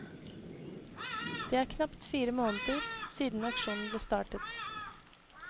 Det er knapt fire måneder siden aksjonen ble startet.